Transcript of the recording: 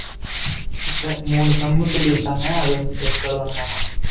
test மூணு sum சொல்லிருக்காங்க அது வந்து test எழுதணுமாம்